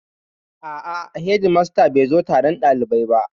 A'a, hedimastan bai zo taron ɗalibai ba